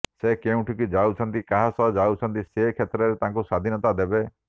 ସେ କେଉଁଠିକୁ ଯାଉଛନ୍ତି କାହା ସହ ଯାଉଛନ୍ତି ସେ କ୍ଷେତ୍ରରେ ତାଙ୍କୁ ସ୍ୱାଧୀନତା ଦେବେ